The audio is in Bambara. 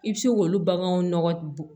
I bɛ se k'olu baganw nɔgɔ bɔ